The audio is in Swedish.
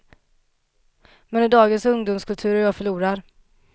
Men i dagens ungdomskultur är jag förlorad.